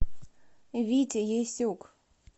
витя ясюк